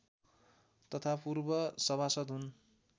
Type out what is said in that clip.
तथा पूर्व सभासद् हुन्